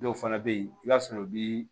Dɔw fana bɛ yen i b'a sɔrɔ u bi